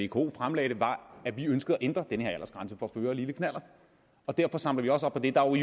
vko fremlagde det var at vi ønsker at ændre den her aldersgrænse for at føre lille knallert derfor samler vi også op på det der er